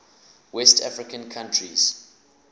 west african countries